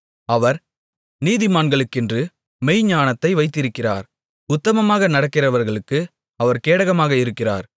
அவர் நீதிமான்களுக்கென்று மெய்ஞானத்தை வைத்திருக்கிறார் உத்தமமாக நடக்கிறவர்களுக்கு அவர் கேடகமாக இருக்கிறார்